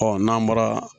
n'an bɔra